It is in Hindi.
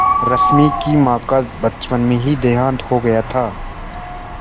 रश्मि की माँ का बचपन में ही देहांत हो गया था